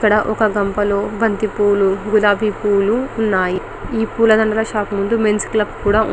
ఇక్కడ ఒక గంప లో బంతి పూలు గులాబీ పూలు ఉన్నాయి ఈ పూల దండల షాప్ ముందు మేన్స్ క్లబ్ కూడా ఉంది.